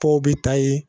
Tɔw bɛ taa ye